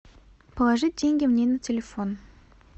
положить деньги мне на телефон